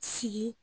Sigi